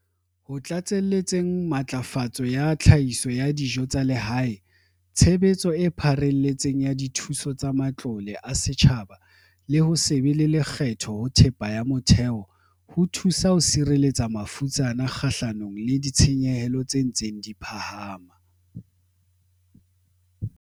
Ho tlatselletseng matlafatso ya tlhahiso ya dijo tsa lehae, tshebetso e pharelletseng ya dithuso tsa matlole a setjhaba le ho se be le lekgetho ho thepa ya motheo ho thuso ho sireletsa mafutsana kgahlanong le ditshenyehelo tse ntseng di phahama.